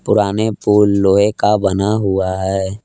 पुराने पुल लोहे का बना हुआ है।